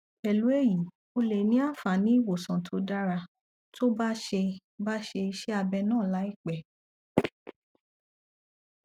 pẹlú èyí ó lè ní àǹfààní ìwòsàn tó dára tó bá ṣe bá ṣe iṣẹ abẹ náà láìpẹ